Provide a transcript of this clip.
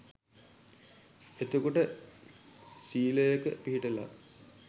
එතකොට සීලයක පිහිටලා